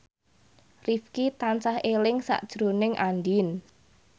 Rifqi tansah eling sakjroning Andien